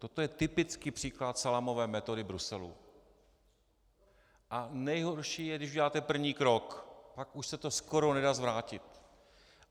Toto je typický příklad salámové metody Bruselu a nejhorší je, když uděláte první krok, pak už se to skoro nedá zvrátit.